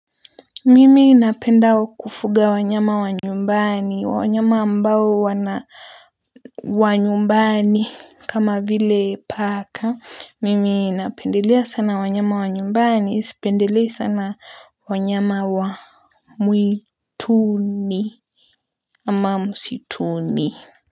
Mimi napenda kufuga wanyama wa nyumbani wanyama ambao wanyumbani kama vile paka. Mimi napendelea sana wanyama wa nyumbani sipendelei sana wanyama wa mwituni ama msituni.